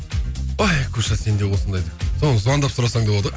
ой куша сен де осындайда соны звондап сұрасаң да болады ғой